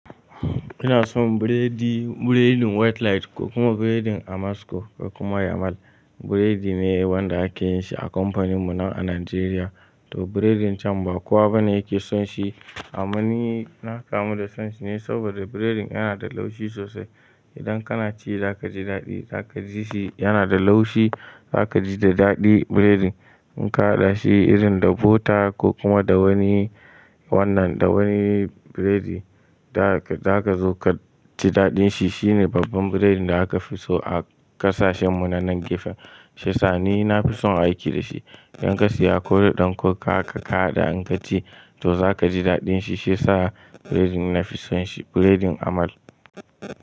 Ina son biredi, biredin white light ko kuma biredin Amasco ko kuma Yamal. Biredi ne wanda ake yin shi a kamfanin mu nan a Najeriya. To biredin can ba kowa bane yake son shi. Amma ni na kamu da son shi ne saboda biredin yana da laushi sosai. Idan kana ci za ka ji daɗi, za ka ji shi yana da laushi, za ka ji da daɗi biredin. In ka haɗa shi irin da bota ko kuma da wani wannan, da wani biredi, za ka zo ka ji daɗin shi. Shine babban biredin da aka fi so a ƙasashen mu nan na gefe. Shiya sa ni na fi son aiki da shi. Idan ka siya koda ɗan coke haka kahaɗa in ka ci to za ka ji daɗin shi. Shi ya sa biredin na fi son shi, biredin Amal.